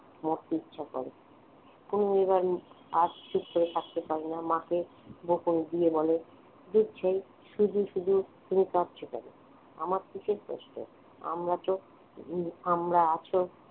মরতে ইচ্ছা করে অনু এবার আর চুপ করে থাকতে পারে না মাকে বকুনি দিয়ে বলে দুধ ছাই শুধু শুধু তুমি কাঁদছো কেন আমার কিসের কষ্ট আমরা তো আমরা আছি